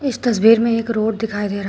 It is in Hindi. इस तस्वीर में एक रोड दिखाई दे रहा--